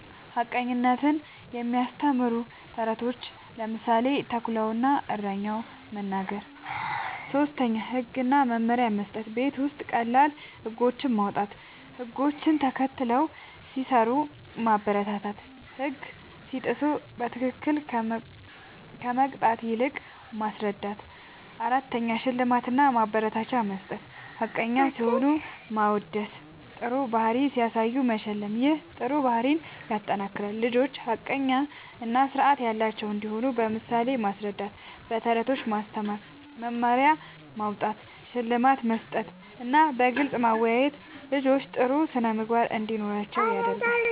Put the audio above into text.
ሐቀኝነትን የሚያስተምሩ ተረቶችን (ምሳሌ፦ “ተኩላ እና እረኛው”) መናገር። ፫. ህግ እና መመሪያ መስጠት፦ ቤት ውስጥ ቀላል ህጎች ማዉጣት፣ ህግ ተከትለው ሲሰሩ ማበረታታትና ህግ ሲጥሱ በትክክል ከመቅጣት ይልቅ ማስረዳት ፬. ሽልማት እና ማበረታቻ መስጠት፦ ሐቀኛ ሲሆኑ ማወደስና ጥሩ ባህሪ ሲያሳዩ መሸለም ይህ ጥሩ ባህሪን ያጠናክራል። ልጆች ሐቀኛ እና ስርዓት ያላቸው እንዲሆኑ በምሳሌ ማስረዳት፣ በተረቶች ማስተማር፣ መመሪያ ማዉጣት፣ ሽልማት መስጠትና በግልጽ ማወያየት ልጆች ጥሩ ስነ ምግባር እንዲኖራቸዉ ያደርጋል